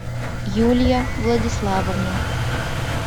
юлия владиславовна